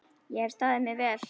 Ég hef staðið mig vel.